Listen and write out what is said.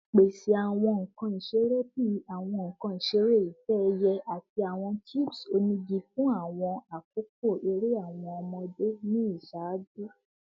Pese awọn nkan isere bii awọn nkan isere itẹ-ẹiyẹ ati awọn cubes onigi fun akoko ere awọn ọmọde ni iṣaaju